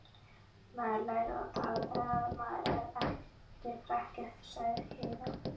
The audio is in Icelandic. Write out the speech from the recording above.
Maður lærir að tala þegar maður er krakki, sagði Heiða.